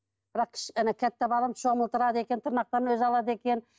бірақ балам шомылдырады екен тырнақтарын өзі алады екен